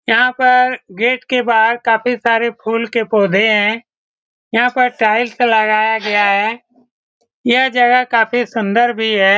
यहाँ पर गेट के बाहर काफी सारे फूल के पौधे हैं यहाँ पर टाइल्स लगाया गया है यह जगह काफी सुन्दर भी है।